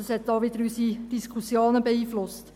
Das hat auch wieder unsere Diskussionen beeinflusst.